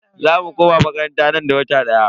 Za mu koma makaranta nan da wata daya.